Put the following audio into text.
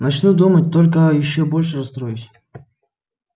начну думать только ещё больше расстроюсь